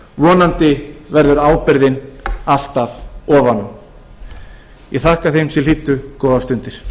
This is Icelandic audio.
vonandi verður ábyrgðin alltaf ofan á ég þakka þeim sem hlýddu góðar stundir